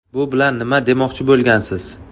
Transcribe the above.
Bu bilan nima demoqchi bo‘lgansiz?